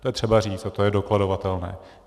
To je třeba říct a to je dokladovatelné.